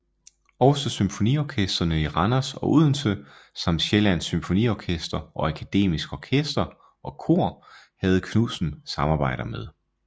Også symfoniorkestrene i Randers og Odense samt Sjællands Symfoniorkester og Akademisk Orkester og Kor havde Knudsen samarbejder med